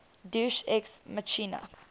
deus ex machina